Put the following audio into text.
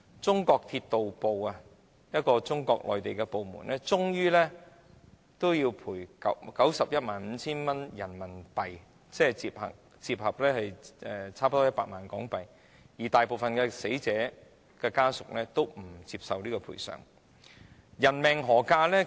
當時的中國鐵道部最終賠償 915,000 元人民幣，折合近 1,000,000 港元，但大部分死者家屬皆不接受這個賠償金額。